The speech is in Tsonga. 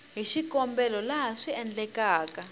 hi xikombelo laha swi endlekaka